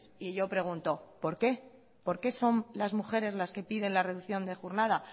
y yo pregunto por qué por qué son las mujeres las que piden la reducción de jornada